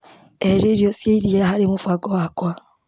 Eheria irio cia iria harĩ mũbango wakwa.